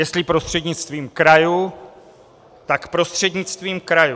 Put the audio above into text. Jestli prostřednictvím krajů, tak prostřednictvím krajů.